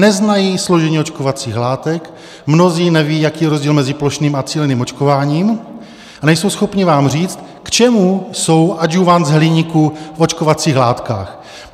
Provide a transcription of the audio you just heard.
Neznají složení očkovacích látek, mnozí nevědí, jaký je rozdíl mezi plošným a cíleným očkováním, a nejsou schopni vám říct, k čemu jsou adjuvanty z hliníku v očkovacích látkách.